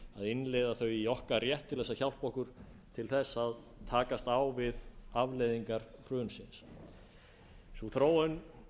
innleiða þau í okkar rétt til að hjálpa okkur til að takast á við afleiðingar hrunsins sú þróun